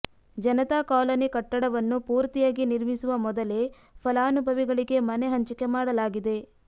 Janata colony ಕಟ್ಟಡವನ್ನು ಪೂರ್ತಿಯಾಗಿ ನಿರ್ಮಿಸುವ ಮೊದಲೇ ಫಲಾನುಭವಿಗಳಿಗೆ ಮನೆ ಹಂಚಿಕೆ ಮಾಡಲಾಗಿದೆ